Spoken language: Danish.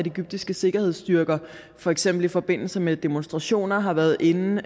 egyptiske sikkerhedsstyrker for eksempel i forbindelse med demonstrationer har været inde og